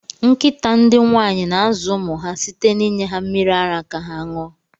Nkịta ndị nwaanyị na-azụ ụmụ ha site na inye ha mmiri ara ka ha ṅụọ.